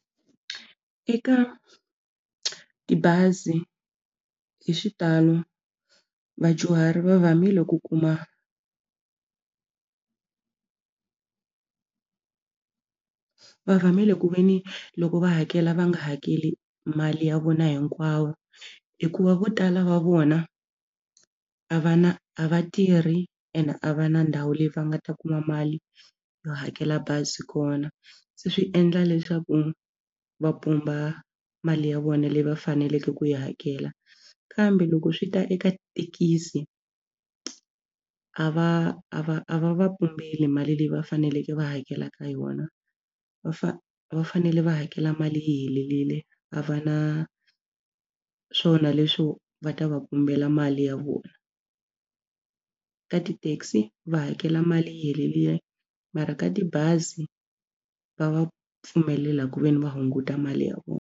Eka tibazi hi xitalo vadyuhari va vamile ku kuma va vamile ku ve ni loko va hakela va nga hakeli mali ya vona hinkwawo hikuva vo tala va vona a va na a va tirhi ene a va na ndhawu leyi va nga ta kuma mali yo hakela bazi kona. Se swi endla leswaku va pumba mali ya vona leyi va faneleke ku yi hakela kambe loko swi ta eka thekisi a va a va a va va pumbeli mali leyi va faneleke va hakelaka yona va fa va fanele va hakela mali yi helerile a va na swona leswo va ta va pumbela mali ya vona. Ka ti-taxi va hakela mali yi helerile mara ka tibazi va va pfumelela ku ve ni va hunguta mali ya vona.